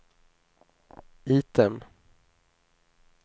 item